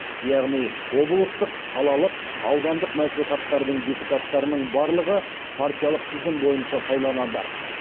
яғни облыстық қалалық аудандық мәслихаттардың депутаттарының барлығы партиялық тізім бойынша сайланады